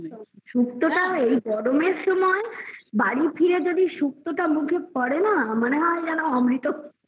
সুক্ত তা এই গরমের সময় বাড়ি ফিরে যদি সুক্ত তা মুখে পরে না মনে হয় যেন অমৃত